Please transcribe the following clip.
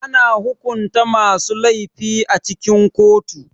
Ana hukunta masu laifi a cikin kotu.